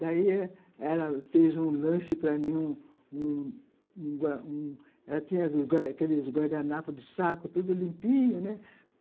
Daí, ela fez um lanche para mim, um um um ela tinha aqueles guardanapos de saco, tudo limpinho, né?